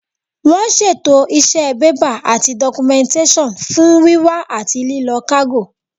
Wọ́n ṣètò iṣẹ́ bébà àti dọ́kúmẹ́ǹtẹ́sàn fún wíwá àti lílọ kágò